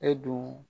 E dun